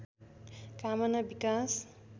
कामना विकास